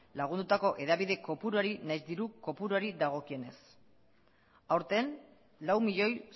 lagundutako hedabide kopuruari nahiz diru kopuruari dagokionez aurten lau milioi